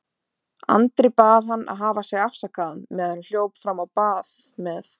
Andri bað hann að hafa sig afsakaðan meðan hann hljóp fram á bað með